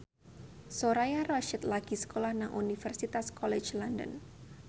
Soraya Rasyid lagi sekolah nang Universitas College London